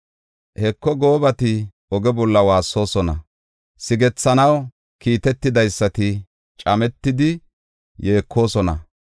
Heko, goobati oge bolla waassoosona; sigethanaw kiitetidaysati cametidi yeekosona.